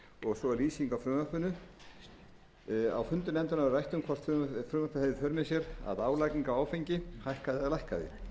og svo er lýsing á frumvarpinu á fundum nefndarinnar var rætt hvort frumvarpið hefði í för með sér að álagning á áfengi hækkaði eða lækkaði